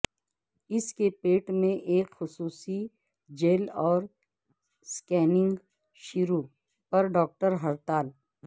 اس کے پیٹ سے ایک خصوصی جیل اور سکیننگ شروع پر ڈاکٹر ہڑتال